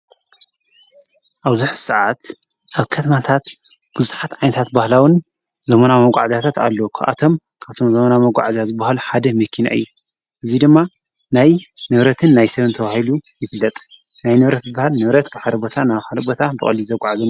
ኣብዙኅ ሰዓት ኣብ ከትማታት ብዙኃት ዓንታት ባህላዉን ለመና መቛዕጃታትኣለወኳኣቶም ካብቶም ዘምና መቛዕእዛ ዝብሃሉ ሓደ ምኪን እዩ እዙይ ድማ ናይ ነብረትን ናይ ሰብንተውሂሉ ይፍለጥ ናይ ንብረት በሃል ነብረት ሐሪቦታ ና ሓሪቦታ ምተቓል እዩ።